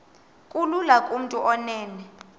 kulula kumntu onen